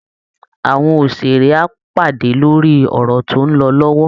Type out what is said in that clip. Àwọn òṣèré á pàdé lórí ọ̀rọ̀ tó ń lọ lọ́wọ́